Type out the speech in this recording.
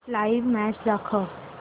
live match दाखव